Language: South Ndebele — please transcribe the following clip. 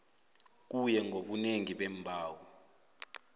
kuye ngobunengi beembawo